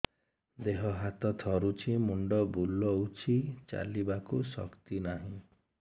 ଦେହ ହାତ ଥରୁଛି ମୁଣ୍ଡ ବୁଲଉଛି ଚାଲିବାକୁ ଶକ୍ତି ନାହିଁ